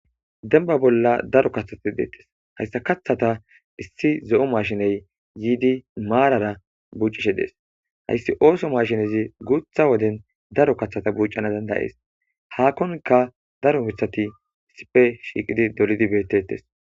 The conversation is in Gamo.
Demba bolla dalga kathati detes he kathata issi zo'o mashiney yidi marara bucishe dees haysi ootho mashinezi guutha woden daro kathata bucana danda'es hakonka daro mithati issipe shiqidi dolidi betetes